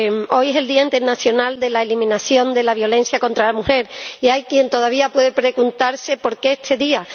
Hoy es el Día Internacional de la Eliminación de la Violencia contra la Mujer y hay quien todavía puede preguntarse por qué este día.